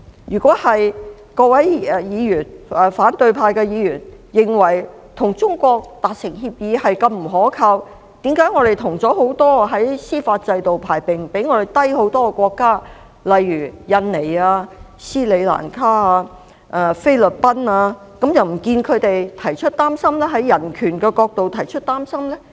如果各位反對派議員認為與中國達成協議是如此不可靠，為何我們跟很多司法制度排名比香港低很多的國家簽訂協議，卻不見他們從人權的角度表示憂慮呢？